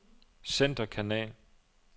centerkanal